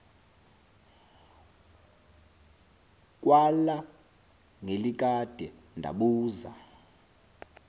kwala ngelikade ndabuza